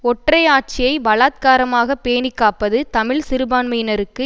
ஒற்றை ஆட்சியை பலாத்காரமாக பேணி காப்பது தமிழ் சிறுபான்மையினருக்கு